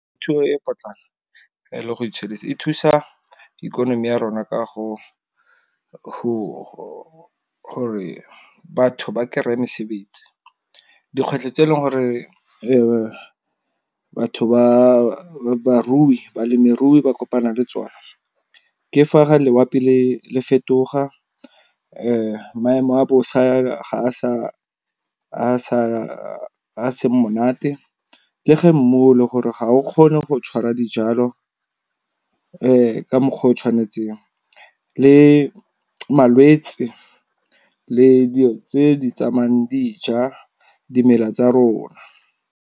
Thuo e potlana e le go itshedisa e thusa ikonomi ya rona ka go gore batho ba kereye mesebetsi. Dikgwetlho tse e leng gore batho ba balemirui ba kopana le tsona. Ke fa ga loapi le fetoga maemo a bosa a seng monate, le ge mmu gore ga o kgone go tshwara dijalo ka mokgwa o tshwanetseng. Le malwetse le dilo tse di tsamayang di ja dimela tsa rona.